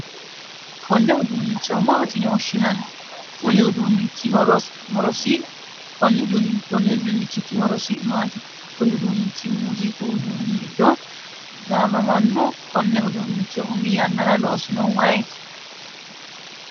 konne uduunnicho maati yine woshshinanni? konni uduunnichiti horosi maati? kuni uduunnichi muuziiqu uduunni giddo gaamamanno? konne uduunnicho umi yannara loosinohu ayeeti?